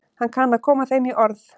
Hann kann að koma þeim í orð.